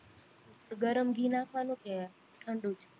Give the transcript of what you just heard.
ગરમ ઘી નાખવાનું કે ઠંડુ જ